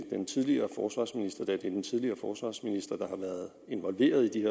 den tidligere forsvarsminister da det er den tidligere forsvarsminister der har været involveret i de